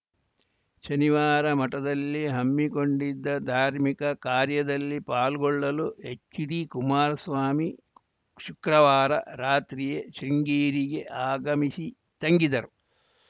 ಶನಿವಾರ ಮಠದಲ್ಲಿ ಹಮ್ಮಿಕೊಂಡಿದ್ದ ಧಾರ್ಮಿಕ ಕಾರ್ಯದಲ್ಲಿ ಪಾಲ್ಗೊಳ್ಳಲು ಎಚ್‌ಡಿಕುಮಾರಸ್ವಾಮಿ ಶುಕ್ರವಾರ ರಾತ್ರಿಯೇ ಶೃಂಗೇರಿಗೆ ಆಗಮಿಸಿ ತಂಗಿದ್ದರು